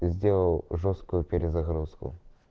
сделал жёсткую перезагрузку